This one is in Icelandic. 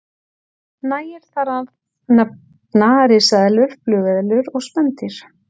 Nægir þar að nefna risaeðlur, flugeðlur og spendýr.